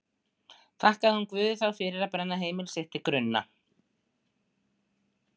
Þakkaði hún Guði þá fyrir að brenna heimili sitt til grunna?